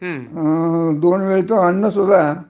दोन वेळेच अन्न सुद्धा